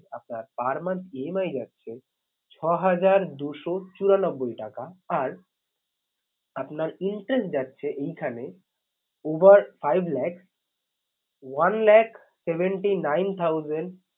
আপনার per month EMI যাচ্ছে ছহাজার দুশো চুরানব্বই টাকা। আর আপনার interest যাচ্ছে এইখানে over five lakhs one lakh seventy nine thousand